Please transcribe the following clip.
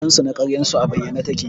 halinsu na ƙaryarsu a bayyane take